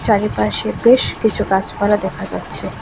চারিপাশে বেশ কিছু গাছপালা দেখা যাচ্ছে।